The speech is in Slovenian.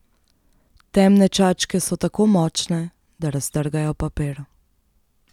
Temne čačke so tako močne, da raztrgajo papir.